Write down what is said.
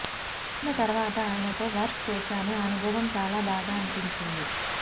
పదమూడేళ్ల తర్వాత ఆయనతో వర్క్ చేశాను ఆ అనుభవం చాలా బాగా అనిపించింది